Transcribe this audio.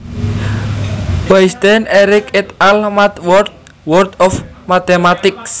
Weisstein Eric et al MathWorld World of Mathematics